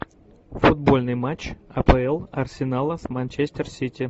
футбольный матч апл арсенала с манчестер сити